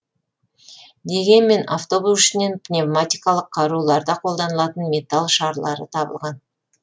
дегенмен автобус ішінен пневматикалық қаруларда қолданылатын металл шарлары табылған